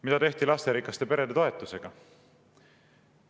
Mida tehti lasterikaste perede toetusega?